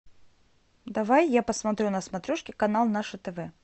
давай я посмотрю на смотрешке канал наше тв